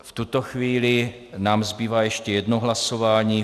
V tuto chvíli nám zbývá ještě jedno hlasování.